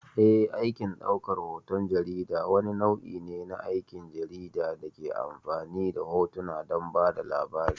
Eh, aikin ɗaukar hoton jarida wani nau'i ne na aikin jarida da ke amfani da hotuna don ba da labari.